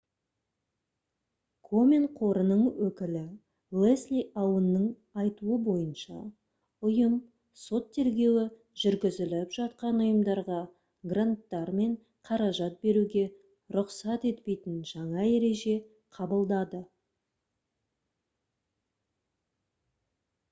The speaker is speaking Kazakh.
комен қорының өкілі лесли аунның айтуы бойынша ұйым сот тергеуі жүргізіліп жатқан ұйымдарға гранттар мен қаражат беруге рұқсат етпейтін жаңа ереже қабылдады